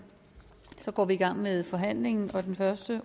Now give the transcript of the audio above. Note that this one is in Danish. så går vi i gang med forhandlingen og den første